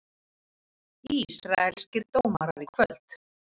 Ísraelskir dómarar í kvöld